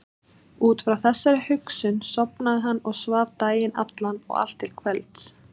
Út frá þessari hugsun sofnaði hann og svaf daginn allan og allt til kvelds.